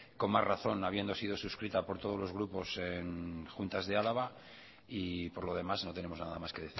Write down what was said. con más razón habiendo sido suscrita por todos los grupos en juntas de araba y por lo demás no tenemos nada más que